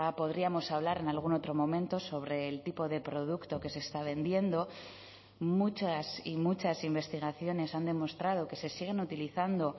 podríamos hablar en algún otro momento sobre el tipo de producto que se está vendiendo muchas y muchas investigaciones han demostrado que se siguen utilizando